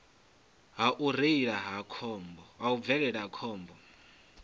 ha u bvelela ha khombo